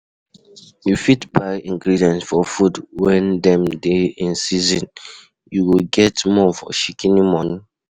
You fit buy ingredients for food when dem dey in season, you go get more for shikini money